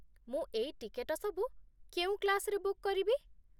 ମୁଁ ଏଇ ଟିକେଟ ସବୁ କେଉଁ କ୍ଳାସ୍‌ରେ ବୁକ୍ କରିବି?